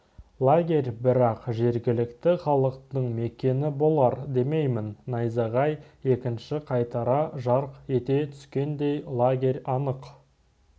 лагерь бірақ жергілікті халықтың мекені болар демеймін найзағай екінші қайтара жарқ ете түскенде лагерь анық